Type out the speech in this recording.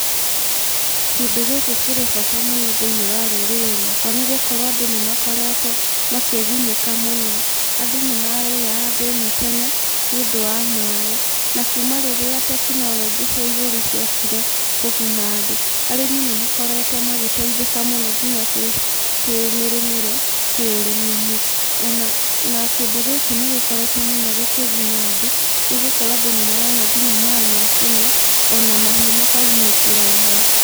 Kĩndũ gĩkĩ kĩrĩ bata mũno thĩinĩ wa rũrĩrĩ rwakwa nĩgũkorwo andũ nĩmakoretwo makĩgunĩka mũno. Andũ nĩmararĩaga thĩna tene nĩũndũ wa maaĩ na kuma rĩrĩa tekinoronjĩ cia igũrũ ciokire, kũguna andũ, arĩmi nĩmakorewtwo magĩteithĩka mũno nginya kĩmĩrĩmĩre, kĩ ũrĩmi-inĩ ona kĩndũ gĩkĩ nĩgĩkoretwo mũno gĩkĩguna andũ nĩgũkorwo andũ nĩmarona nginya maaĩ ma kũnyua, ona mahiũ makagunĩkĩra oho.